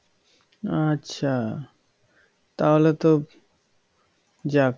আচ্ছা তাহলে তো যাক